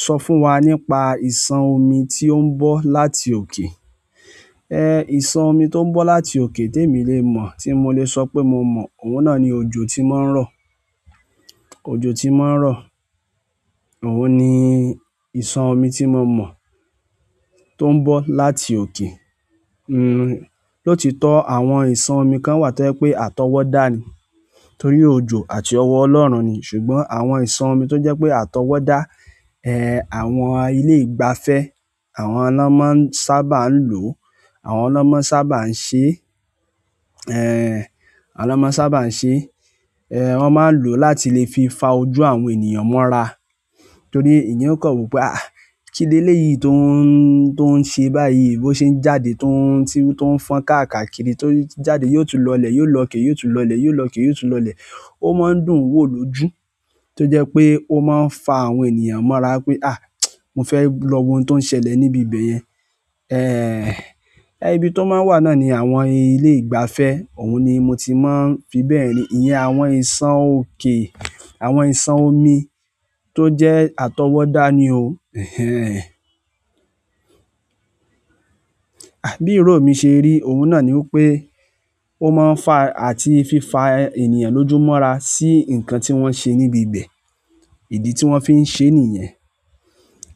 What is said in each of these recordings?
Sọ fún wa nípa ìṣàn omi tí ó ń bọ́ láti òkè. Ẹhn, ìṣàn omi tó ń bọ́ láti òkè, tèmi lè mọ̀, tí mo lè sọ pé mo mọ̀, òun náà ni òjò tí ó máa ń rọ̀. Òjò tí ó máa ń rọ̀. Òun ni ìsàn omi tí mo mọ̀ tó ń bọ́ láti òkè. Hmm, lótitọ́ àwọn ìṣàn omi kan wà tó jẹ́ pé àtọwọ́dá ni, torí òjò àti ọwọ́ Ọlọ́run ni. Ṣùgbọ́n àwọn iṣan to jẹ pe atọwada, ẹhn àwọn ilé ìgbafẹ́ àwọn ni wọn máa sábà n lo àwọn ni wọn máa sábà n ṣe, ẹhn, àwọn ni wọn máa sábà n ṣe, wọn máa n lo láti fi fa ojú àwọn ènìyàn mọra. Torí èèyàn ó kọ̀ wopé, "àh, kíléyìí tó ń, tó ń ṣe báyìí, bó ṣe ń jáde tó ń, tí ó ń fọn kakáàkiri tó n jáde, yóò tún lọlẹ̀, yóò lọ ké, yóò tún lọlẹ̀, yóò lọ ké, yóò tún lọlẹ̀." Ó máa ń dùn wò lójú tó jẹ́ pé ó máa ń fa àwọn ènìyàn mọ́ra wipé, "àh, mo fẹ́ lọ wo ohun tó ń ṣẹlẹ̀ níbi bẹ̀yẹn." E, ibi tó máa ń wà náà ni àwọn ilé ìgbafẹ́. Òun ni mo ti máa ń fi bẹ̀ n ri. Iyẹn àwọn ìṣàn òkè, àwọn ìṣàn omi tó jẹ́ àtọwọ́dá ni o. Ehen. Bíi ìró mi ṣe rí, òun náà ni wipé ó máa ń fa àti fi fa ènìyàn lójú mọ́ra sí nǹkan tí wọ́n ṣe níbi ibẹ̀. Ìdí tí wọ́n fi ń ṣe nìyẹn.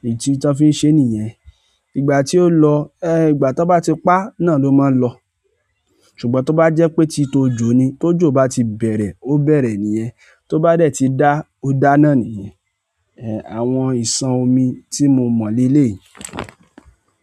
Ìdí tí wọ́n fi ń ṣe nìyẹn. Ìgbà tí ó lọ, ẹ, ìgbà ti wọn bá ti pa náà ló máa n lọ. Ṣùgbọ́n tó bá jẹ́ pé ti ti òjò ni, ti òjò bá ti bẹ̀rẹ̀, ó bẹ̀rẹ̀ nìyẹn. Tó bá dẹ̀ ti dá, ó dá náà nìyẹn. E, àwọn ìṣàn omi tí mo mọ̀ leleyìí.